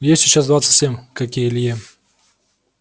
ей сейчас двадцать семь как и илье